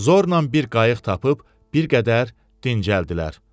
Zornan bir qayıq tapıb bir qədər dincəldilər.